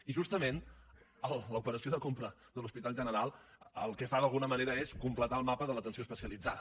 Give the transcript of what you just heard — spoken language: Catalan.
i justament l’operació de compra de l’hospital general el que fa d’alguna manera és completar el mapa de l’atenció especialitzada